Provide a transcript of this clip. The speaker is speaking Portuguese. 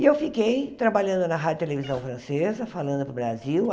E eu fiquei trabalhando na rádio e televisão francesa, falando para o Brasil.